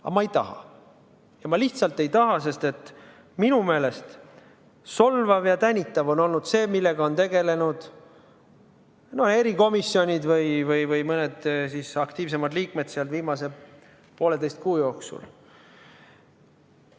Aga ma ei taha, ma lihtsalt ei taha, sest minu meelest on solvav ja tänitav olnud see, millega on tegelenud erikomisjonid või mõned nende aktiivsemad liikmed viimase pooleteise kuu jooksul.